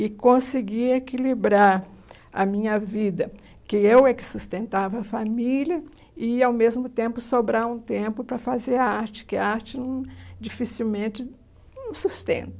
E consegui equilibrar a minha vida, que eu é que sustentava a família e, ao mesmo tempo, sobrar um tempo para fazer a arte, que a arte hum dificilmente sustenta.